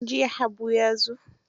Jiya Habu ya zo.